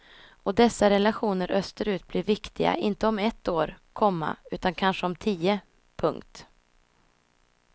Och dessa relationer österut blir viktiga inte om ett år, komma utan kanske om tio. punkt